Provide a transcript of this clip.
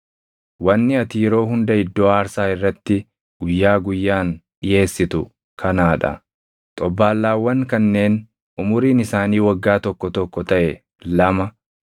“Wanni ati yeroo hunda iddoo aarsaa irratti guyyaa guyyaan dhiʼeessitu kanaa dha: Xobbaallaawwan kanneen umuriin isaanii waggaa tokko tokko taʼe lama;